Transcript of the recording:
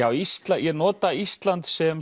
á Íslandi ég nota Ísland sem